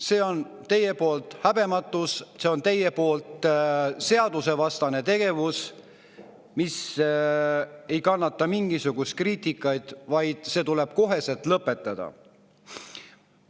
See on teie poolt häbematus, see on teie poolt seadusvastane tegevus, mis ei kannata mingisugust kriitikat, vaid see tuleb kohe lõpetada.